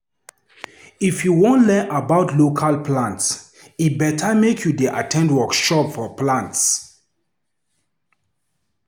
If you wan learn about local plants, e better make you dey at ten d workshops for plant.